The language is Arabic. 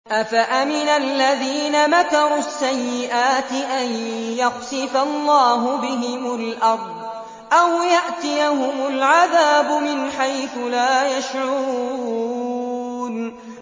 أَفَأَمِنَ الَّذِينَ مَكَرُوا السَّيِّئَاتِ أَن يَخْسِفَ اللَّهُ بِهِمُ الْأَرْضَ أَوْ يَأْتِيَهُمُ الْعَذَابُ مِنْ حَيْثُ لَا يَشْعُرُونَ